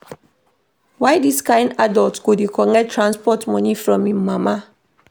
Why dis kain adult go dey collect transport moni from im mama?